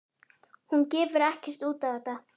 Hún gefur ekkert út á þetta.